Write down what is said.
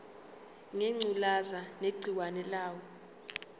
ngengculazi negciwane layo